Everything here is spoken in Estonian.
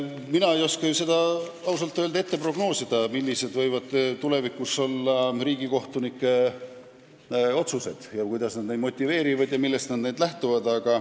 Mina ei oska seda ausalt öeldes prognoosida, millised võivad tulevikus olla riigikohtunike otsused ja kuidas nad neid motiveerivad, millest lähtuvad.